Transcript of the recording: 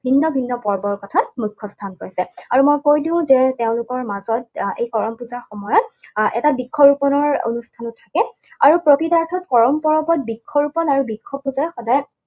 ভিন্ন ভিন্ন পৰ্বৰ কথা মুখ্যস্থান পাইছে। আৰু মই কৈ দিওঁ যে তেওঁলোকৰ মাজত আহ এই কৰম পূজাৰ সময়ত এটা বৃক্ষৰোপনৰ অনুষ্ঠানো থাকে। আৰু প্ৰকৃতাৰ্থত কৰম পৰৱত বৃক্ষৰোপণ আৰু বৃক্ষপূজা সদায়